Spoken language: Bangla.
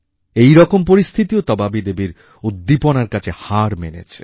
এইরকম পরিস্থিতিও তবাবী দেবীর উদ্দীপনার কাছে হার মেনেছে